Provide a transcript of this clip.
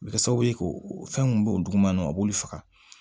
A bɛ kɛ sababu ye k'o fɛn mun b'o o duguma o b'olu faga